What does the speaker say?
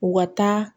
U ka taa